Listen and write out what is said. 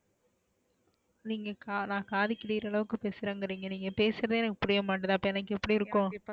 நீங்க நான் காது கிழியுற அளவுக்கு பேசுறேன்குறிங்க நீங்க பேசுறதே எனக்கு புரியமாடிது அபோ எனக்கு எப்டி இருக்கோம்,